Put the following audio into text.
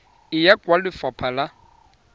e ya kwa lefapha la